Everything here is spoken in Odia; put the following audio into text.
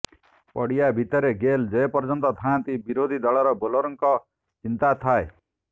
ପଡ଼ିଆରେ ଭିତରେ ଗେଲ ଯେ ପର୍ଯ୍ୟନ୍ତ ଥାଆନ୍ତି ବିରୋଧୀ ଦଳର ବୋଲରଙ୍କ ଚିନ୍ତା ଥାଏ